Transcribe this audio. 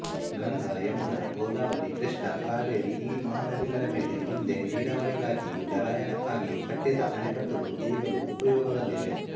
ಗಂಗಾ ಯಮುನಾ ಗೋದಾವರಿ ಕೃಷ್ಣಾ ಕಾವೇರಿಈ ಮಹಾನದಿಗಳ ಮೇಲೆ ಹಿಂದೆ ನೀರಾವರಿಗಾಗಿಯೂ ಜಲಯಾನಕ್ಕಾಗಿಯೂ ಕಟ್ಟಿದ ಅಣೆಕಟ್ಟುಗಳು ಈಗಲೂ ಉಪಯೋಗದಲ್ಲಿವೆ